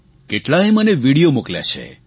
કેટલાએ મને વિડીઓ મોકલ્યા છે